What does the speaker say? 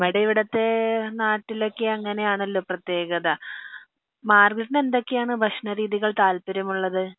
നമ്മടെ ഇവിടത്തെ നാട്ടിലോക്കെ അങ്ങനെ ആണല്ലോ പ്രേതെകത മാര്ഗരോട്ടിന് എന്തൊക്കെ ആണ് ഭക്ഷണ രീതികൾ താല്പര്യം ഉള്ളത്